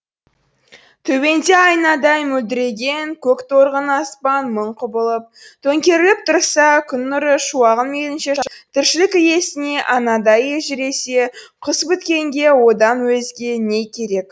төбеңде айнадай мөлдіреген көк торғын аспан мың құбылып төңкеріліп тұрса күн нұры шуағын мейлінше шашып тіршілік иесіне анадай елжіресе құс біткенге одан өзге не керек